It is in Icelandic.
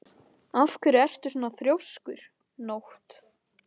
Af hverju ertu svona þrjóskur, Nótt?